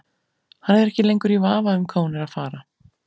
Hann er ekki lengur í vafa um hvað hún er að fara.